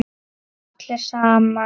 Allir saman.